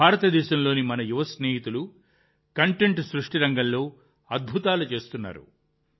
భారతదేశంలోని మన యువ స్నేహితులు కంటెంట్ సృష్టి రంగంలో అద్భుతాలు చేస్తున్నారు